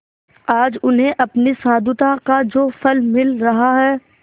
आज उन्हें अपनी साधुता का जो फल मिल रहा है